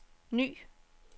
ny